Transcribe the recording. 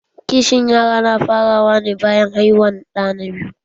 Kishin yara na fara wa ne bayan haihuwan ɗa na biyu